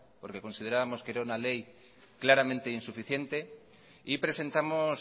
porque considerábamos que era una ley claramente insuficiente y presentamos